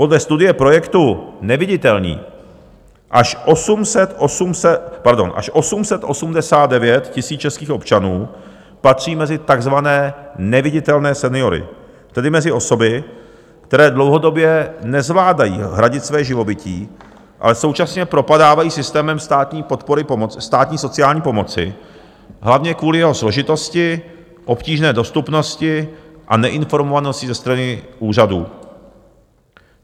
Podle studie projektu Neviditelní až 889 000 českých občanů patří mezi takzvané neviditelné seniory, tedy mezi osoby, které dlouhodobě nezvládají hradit své živobytí, ale současně propadávají systémem státní sociální pomoci hlavně kvůli jeho složitosti, obtížné dostupnosti a neinformovanosti ze strany úřadů.